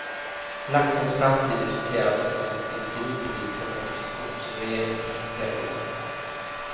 Laxens framtid diskuteras i den fiskeripolitiska proposition som regeringen presenterade igår.